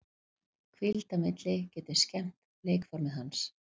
Hvíld á milli getur skemmt leikformið hans.